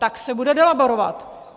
Tak se bude delaborovat.